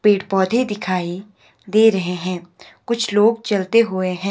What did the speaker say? पेड़ पौधे दिखाई दे रहे हैं कुछ लोग चलते हुए हैं।